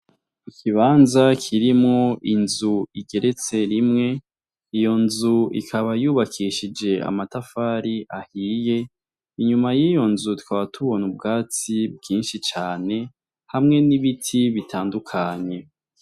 Ikibanza kirimo inzu igeretse rimwe ,iyo nzu ikaba yubakeshije amatafari ahiye ,inyuma y'iyo nzu tukaba tubona ubwatsi bwinshi cane hamwe n'ibiti bitandukanye.